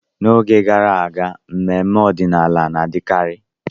N'oge gara aga, mmemme ọdịnala na-adịkarị.